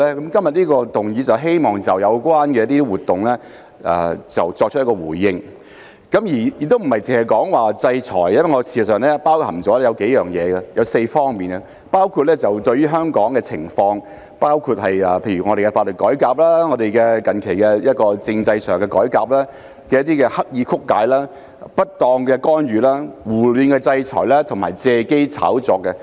今天這項議案是希望就有關的活動作出回應，亦並非單說制裁，而是包含4方面，包括就本港社會狀況、法律改革及近期政制改革的刻意曲解、不當干預、胡亂制裁及借機炒作。